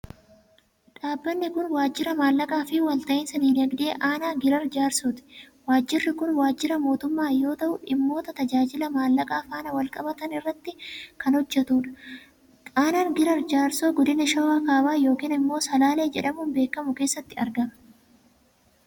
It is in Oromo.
Dhaabbanni kun, waajira maallaqaa fi walta'iinsa diinadgdee aanaa Giraar Jaarsooti. Waajirri kun waajira mootummaa yoo ta'u dhimmoota tajaajila maallaqaa faana wal qabatan irratti kan hojjatuu dha. Aanaan Giraar Jaarsoo, godina Shawaa Kaabaa yokin immoo Salaalee jedhamuun beekamu keessatti argama.